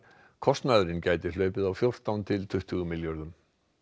kostnaðurinn gæti hlaupið á fjórtán til tuttugu milljörðum